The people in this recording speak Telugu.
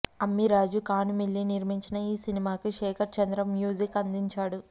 అమ్మిరాజు కానుమిల్లి నిర్మించిన ఈ సినిమాకి శేఖర్ చంద్ర మ్యూజిక్ అందించాడు